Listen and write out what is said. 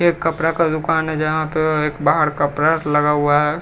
एक कपड़ा का दुकान है जहाँ पे एक बाहर लगा हुआ है।